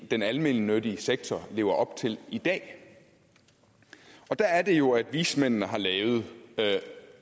den almennyttige sektor lever op til i dag der er det jo at vismændene har lavet